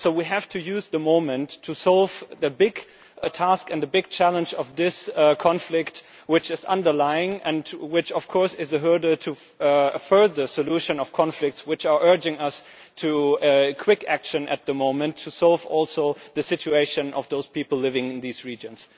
So we have to use the moment to solve the big task and the big challenge of this conflict which is underlying and which, of course, is a hurdle to a further solution of conflicts which are urging us to quick action at the moment to solve also the situation of those people living in these regions.